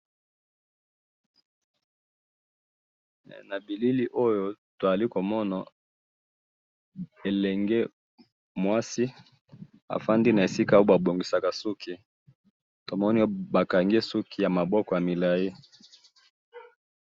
Na bilili oyo tozali komona elenge mwasi afandi na esika oyo babongisaka suki tomoni bakangi ye suki ya maboko ya milai